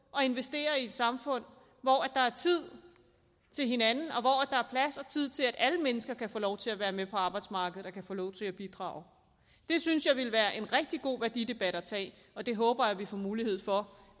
at investere i et samfund hvor der er tid til hinanden og tid til at alle mennesker kan få lov til at være med på arbejdsmarkedet og kan få lov til at bidrage det synes jeg ville være en rigtig god værdidebat at tage og det håber jeg at vi får mulighed for